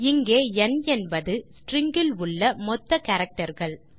இங்கே ந் என்பது stringஇல் உள்ள மொத்த characterகள்